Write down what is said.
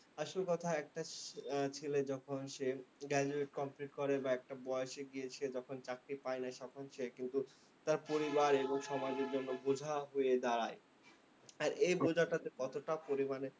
আসল কথা, একটা ছেলে যখন সে graduate complete করে বা একটা বয়সে গিয়ে সে যখন চাকরি পায় না। তখন সে কিন্তু তার পরিবার এবং সমাজের জন্য বোঝা হয়ে দাঁড়ায়। আর এ বোঝাটা যে কতটা পরিমানে